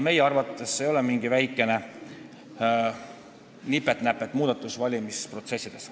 Meie arvates see ei ole mingi väikene nipet-näpet muudatus valimisprotsessis.